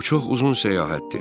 Bu çox uzun səyahətdir.